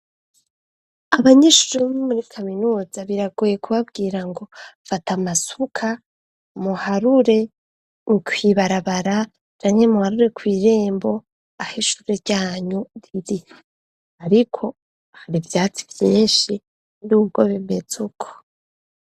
Abanyeshure bo muri kaminuza biragoye kubabwira ngo fata amasuka muharure kw'ibarabara câble muharure kw'rembo aho ishure ryanyu riri ariko hari ivyatsi vyinshi n'ubwo bimetse uko.